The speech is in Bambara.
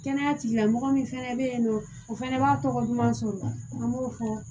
Kɛnɛya tigilamɔgɔ min fɛnɛ bɛ yen nɔ o fana b'a tɔgɔ ɲuman sɔrɔ an b'o fɔ